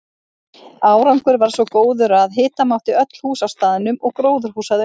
Árangur varð svo góður að hita mátti öll hús á staðnum og gróðurhús að auki.